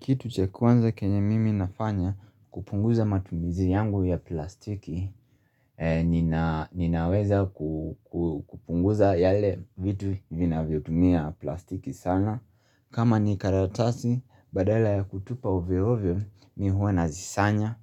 Kitu cha kwanza kenye mimi nafanya, kupunguza matumizi yangu ya plastiki, ninaweza kupunguza yale vitu vinavyotumia plastiki sana. Kama ni karatasi, badala ya kutupa ovyo ovyo, mi huwa nazisanya,